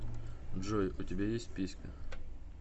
джой у тебя есть писька